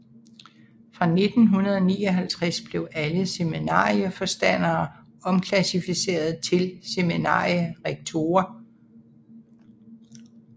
Fra 1959 blev alle seminarieforstandere omklassificeret til seminarierektorer